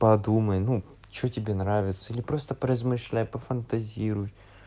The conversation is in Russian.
подумай ну что тебе нравится или просто поразмышляй пофантазируй